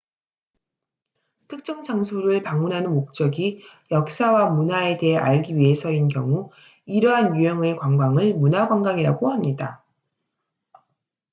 특정 장소를 방문하는 목적이 역사와 문화에 대해 알기 위해서인 경우 이러한 유형의 관광을 문화 관광이라고 합니다